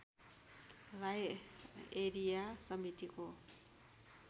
Rai area समितिको